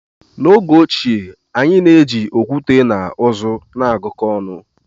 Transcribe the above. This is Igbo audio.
N'oge ochie, anyị na-eji okwute na uzu na-agụkọ ọnụ.